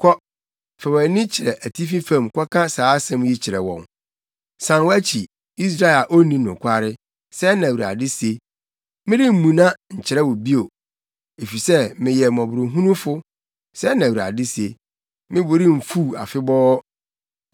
Kɔ, fa wʼani kyerɛ atifi fam kɔka saa nsɛm yi kyerɛ wɔn: “ ‘San wʼakyi, Israel a onni nokware,’ Sɛɛ na Awurade se, ‘Meremmuna nkyerɛ wo bio, efisɛ meyɛ mmɔborɔhunufo,’ sɛɛ na Awurade se, ‘Me bo remfuw afebɔɔ.